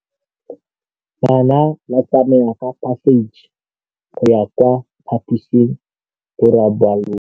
Bana ba tsamaya ka phašitshe go ya kwa phaposiborobalong.